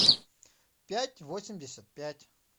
пять восемьдесят пять